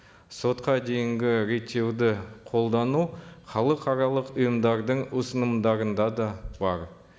сотқа дейінгі реттеуді қолдану халықаралық ұйымдардың ұсынымдарында да бар